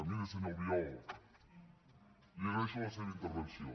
miri senyor albiol li agraeixo la seva intervenció